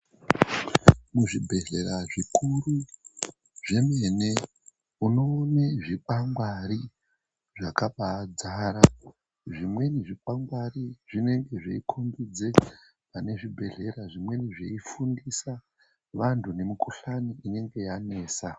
Muzvibhedhlera zvikuru zvemene, unoone zvikwangwari zvakabaadzara. Zvimweni zvikwangwari zvinenge zveikombidza pane zvibhedhlera. Zvimweni zveifundisa vanhu nemikhuhlani inenge yanesa.